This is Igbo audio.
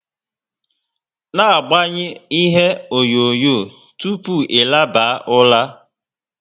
Na agbanyu ihe onyonyo tupu ị laba ụra!